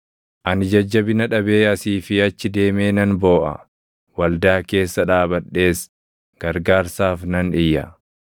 Ani jajjabina dhabee asii fi achi deemee nan booʼa; waldaa keessa dhaabadhees gargaarsaaf nan iyya.